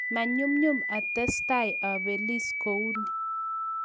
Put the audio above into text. "Manyumnyum atestai abelis kouni